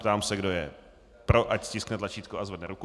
Ptám se, kdo je pro, ať stiskne tlačítko a zvedne ruku.